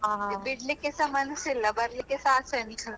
ಬಿಡ್ಲಿಕ್ಕೆಸಾ ಮಾನಸಿಲ್ಲ ಬರಲಿಕ್ಕೆಸಾ ಆಸೆ ಉಂಟು.